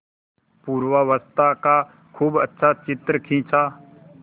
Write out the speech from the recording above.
पूर्वावस्था का खूब अच्छा चित्र खींचा